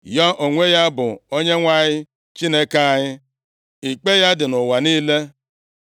Ya onwe ya bụ Onyenwe anyị Chineke anyị; ikpe ya dị nʼụwa niile.